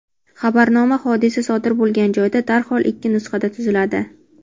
Xabarnoma hodisa sodir bo‘lgan joyda darhol ikki nusxada tuziladi.